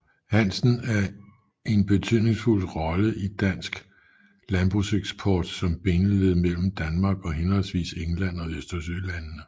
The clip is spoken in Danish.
Hansen en betydningsfuld rolle i dansk landbrugseksport som bindeled mellem Danmark og henholdsvis England og Østersølandene